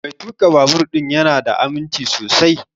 Mai tuƙa babur ɗin ya na da aminci sosai